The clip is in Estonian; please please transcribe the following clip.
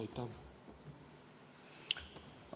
Aitäh!